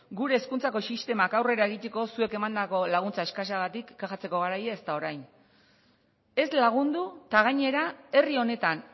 gure hezkuntzako sistemak aurrera egiteko zuek emandako laguntza eskasagatik kexatzeko garaia ez da orain ez lagundu eta gainera herri honetan